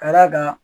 Ka d'a kan